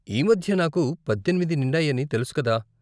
ఈ మధ్యే నాకు పద్దెనిమిది నిండాయని తెలుసు కదా?